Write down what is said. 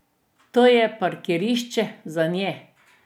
To je parkirišče zanje.